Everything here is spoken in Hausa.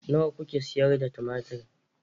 Nawa kuke sayar da tumatir?